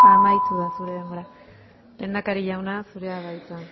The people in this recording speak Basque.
denbora amaitu da lehendakari jauna zurea da hitza